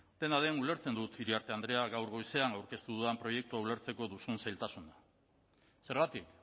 dena den ulertzen dut iriarte andrea gaur goizean aurkeztu dudan proiektu hau ulertzeko duzun zailtasun zergatik